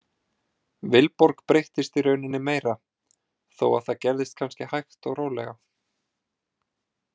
Vilborg breyttist í rauninni meira þó að það gerðist kannski hægt og rólega.